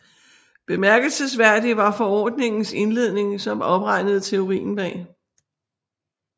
Bemærkelsesværdig var forordningens indledning som opregnede teorien bag